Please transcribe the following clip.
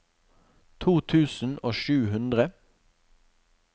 to tusen og sju hundre